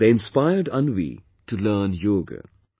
They inspired Anvi to learn yoga